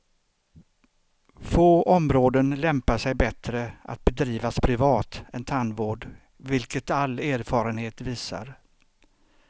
Få områden lämpar sig bättre att bedrivas privat än tandvård, vilket all erfarenhet visar.